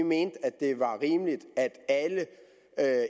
mente at det var rimeligt at